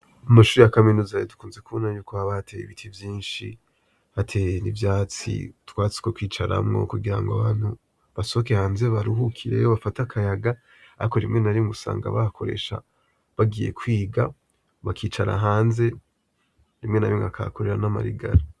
Amashure y’a Kaminuza dukunze kubona haba hateye ibiti vyinshi, hateye n’ivyatsi , utwatsi two kwicaramwo kugira ngo abantu baruhukire hanze bafate akayaga Ariko rimwe na rimwe usanga bahakoresha bagiye kwiga bakicara hanze, rimwe na rimwe bakahakorera namarigara.